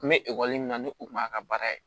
N bɛ min na ni u kun b'a ka baara ye